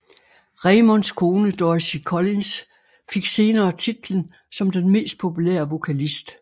Raymonds kone Dorothy Collins fik senere titlen som den mest populære vokalist